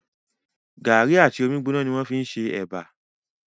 Gàrí àti omi gbóná ni wọ́n fí n ṣe ẹ̀bà